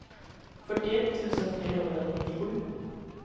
fyrtioett tusen trehundranittiosju